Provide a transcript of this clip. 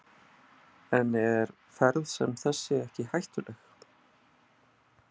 En er ferð sem þessi ekki hættuleg?